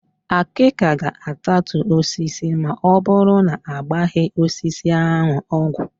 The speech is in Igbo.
Àkị́kà ga-atatu osisi ma ọbụrụ na agbaghị osisi ahụ ọgwụ.